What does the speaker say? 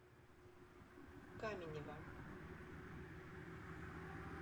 каменева